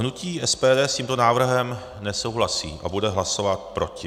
Hnutí SPD s tímto návrhem nesouhlasí a bude hlasovat proti.